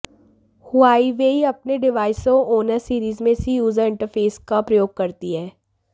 Huawei अपने डिवाइसों और ऑनर सीरीज में इसी यूजर इंटरफेस का प्रयोग करती है